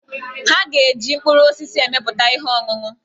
Ha ga-eji mkpụrụ osisi emepụta ihe ọṅụṅụ.